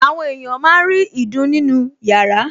Àwọn èèyàn máa ń rí ìdun nínú yàrá